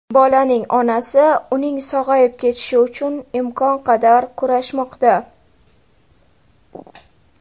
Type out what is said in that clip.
Bolaning onasi uning sog‘ayib ketishi uchun imkon qadar kurashmoqda.